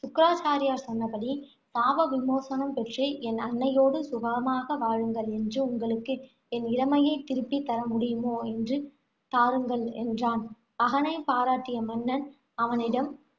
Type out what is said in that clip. சுக்ராச்சாரியார் சொன்னபடி சாப விமோசனம் பெற்று, என் அன்னையோடு சுகமாக வாழுங்கள். என்று உங்களுக்கு என் இளமையைத் திருப்பித் தர முடியுமோ என்று தாருங்கள், என்றான். மகனைப் பாராட்டிய மன்னன், அவனிடம்